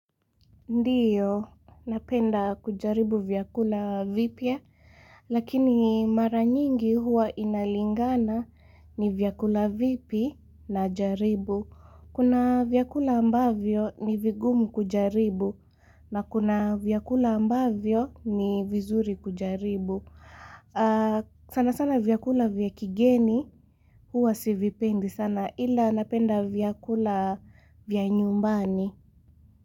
Ndiyo, napenda kujaribu vyakula vipya, lakini mara nyingi huwa inalingana ni vyakula vipi najaribu. Kuna vyakula ambavyo ni vigumu kujaribu, na kuna vyakula ambavyo ni vizuri kujaribu. Sana sana vyakula vya kigeni huwa sivipendi sana ila napenda vyakula vya nyumbani.